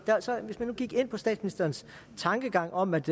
hvis vi nu gik ind på statsministerens tankegang om at